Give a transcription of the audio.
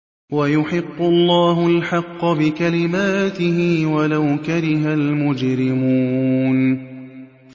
وَيُحِقُّ اللَّهُ الْحَقَّ بِكَلِمَاتِهِ وَلَوْ كَرِهَ الْمُجْرِمُونَ